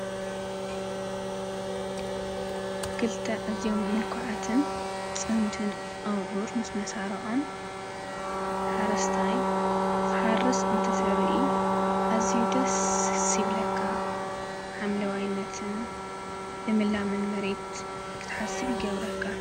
ክልተ ኣዝዮም ምልኩዓትን ፅምድን ኣብዑር ምስ መሳርዖም ሓረስታይ ክሓርስ እንትንርኢ ኣዝዩ ደስ ይብለካ። ሓምለዋይነትን ልምላመን መሬት ክትሓስብ ይገብረካ።